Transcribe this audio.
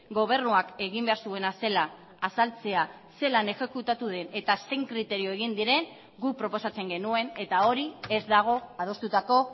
gobernuak egin behar zuena zela azaltzea zelan exekutatu den eta zein kriterio egin diren guk proposatzen genuen eta hori ez dago adostutako